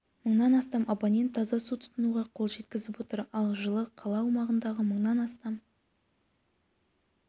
мыңнан астам абонент таза су тұтынуға қол жеткізіп отыр ал жылы қала аумағындағы мыңнан астам